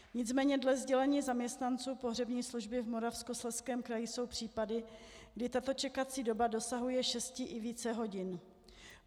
Nicméně dle sdělení zaměstnanců pohřební služby v Moravskoslezském kraji jsou případy, kdy tato čekací doba dosahuje šesti i více hodin.